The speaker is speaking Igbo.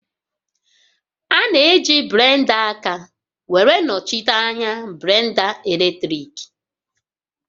A na-eji blenda aka were nọchite anya blenda eletriki